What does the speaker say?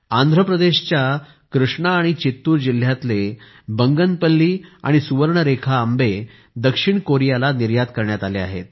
आंध्र प्रदेशच्या कृष्णा आणि चित्तूर जिल्ह्यातले बेगमपल्ली आणि सुवर्णरेखा आंबे दक्षिण कोरियाला निर्यात करण्यात आले आहेत